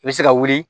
I bɛ se ka wuli